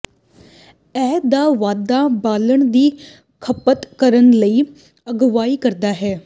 ਇਹ ਦਾ ਵਾਧਾ ਬਾਲਣ ਦੀ ਖਪਤ ਕਰਨ ਲਈ ਅਗਵਾਈ ਕਰਦਾ ਹੈ